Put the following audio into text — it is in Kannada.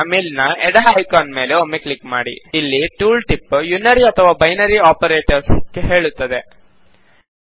ಈಗ ಮೇಲಿನ ಎಡ ಐಕಾನ್ ಮೇಲೆ ಒಮ್ಮೆ ಕ್ಲಿಕ್ ಮಾಡಿ ಇಲ್ಲಿ ಟೂಲ್ ಟಿಪ್ ಯುನರಿ ಅಥವಾ ಬೈನರಿ ಆಪರೇಟರ್ಸ್ ಹೇಳುತ್ತದೆ